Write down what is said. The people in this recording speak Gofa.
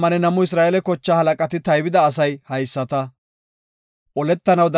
Gaasoyka kase Goday Museko haysada yaagis;